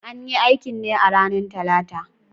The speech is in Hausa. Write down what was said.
An yi aikin ne a ranar Talata